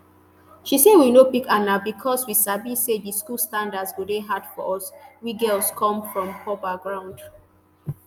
she say we no pick aun becos we sabi say di school standards go dey hard for us we girls come from poor backgrounds